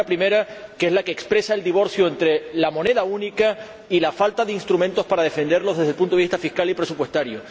La primera es la que expresa el divorcio entre la moneda única y la falta de instrumentos para defenderla desde el punto de vista fiscal y presupuestario.